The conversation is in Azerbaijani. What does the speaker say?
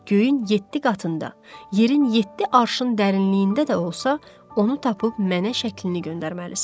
Göyün yeddi qatında, yerin yeddi arşın dərinliyində də olsa, onu tapıb mənə şəklini göndərməlisən.